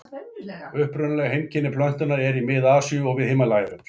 Upprunaleg heimkynni plöntunnar eru í Mið-Asíu og við Himalajafjöll.